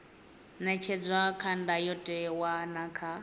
ṅetshedzwa kha ndayotewa na kha